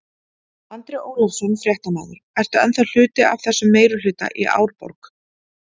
Andri Ólafsson, fréttamaður: Ertu ennþá hluti af þessum meirihluta í Árborg?